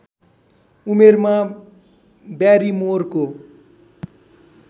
उमेरमा ब्यारिमोरको